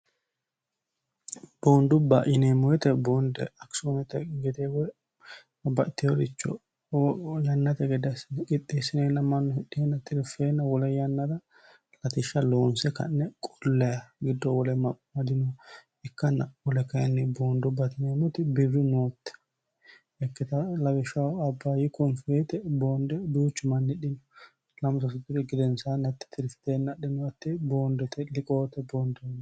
boondubba yineemmo woyete boonde akisoonete gede woy babbaxeyoricho yannate gede assine qixxeessineenna mannu hidhihenna tiriffeenna wole yannara latishsha loonse ka'ne qollayeha giddo woleno amadinoha ikkanna wole kayinni boondubbate yineemoti birru nootte ikkita lawishsh abbayyi koonfi woyeete boonde duuchi manni hidhino lamu sasu diri gedensaan hatti tirifteenna adhinno hatti boondete liqoote boondoono